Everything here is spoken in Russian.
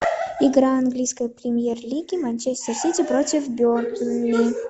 игра английской премьер лиги манчестер сити против бернли